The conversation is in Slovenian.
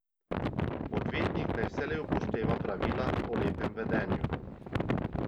Odvetnik naj vselej upošteva pravila o lepem vedenju.